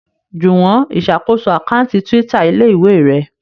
Juwon ìsàkóso Àkáùntì Twitter ilé-ìwé rẹ.